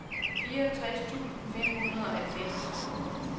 fireogtres tusind fem hundrede og halvfems